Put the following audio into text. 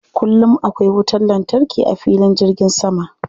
Kullum akwai wutar lantarki a filin jirgin sama.